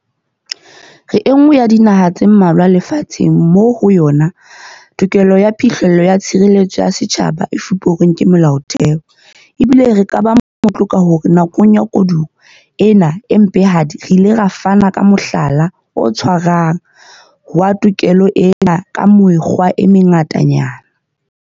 Re enngwe ya dinaha tse mmalwa lefa tsheng moo ho yona tokelo ya phihlello ya tshireletso ya setjhaba e fuperweng ke Molaotheo, ebile re ka ba motlotlo ka hore nakong ya koduwa ena e mpehadi re ile ra fana ka mohlala o tshwarehang wa tokelo ena ka mekgwa e mengatanyana.